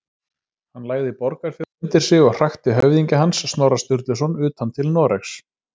Hann lagði Borgarfjörð undir sig og hrakti höfðingja hans, Snorra Sturluson, utan til Noregs.